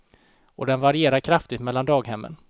Och den varierar kraftigt mellan daghemmen.